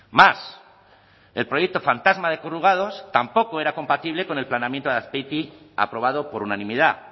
más el proyecto fantasma de corrugados tampoco era compatible con el planeamiento de azpeitia aprobado por unanimidad